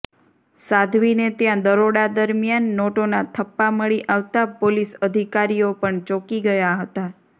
સાધ્વીને ત્યાં દરોડા દરમિયાન નોટોના થપ્પા મળી આવતા પોલીસ અધિકારીઓ પણ ચોંકી ગયા હતા